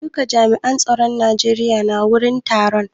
Eh duka jami'an tsaron Najeriya na wurin taron.